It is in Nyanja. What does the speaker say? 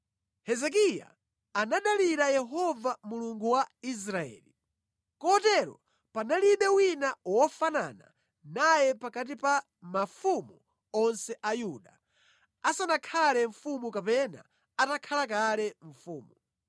Hezekiya anadalira Yehova Mulungu wa Israeli. Kotero panalibe wina wofanana naye pakati pa mafumu onse a Yuda, asanakhale mfumu kapena atakhala kale mfumu.